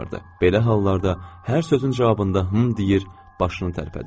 Belə hallarda hər sözün cavabında hım deyir, başını tərpədirdi.